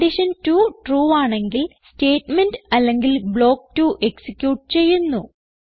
condition 2 true ആണെങ്കിൽ statement അല്ലെങ്കിൽ block 2 execute ചെയ്യുന്നു